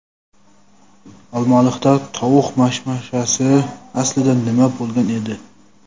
Olmaliqda tovuq mashmashasi: aslida nima bo‘lgan edi?.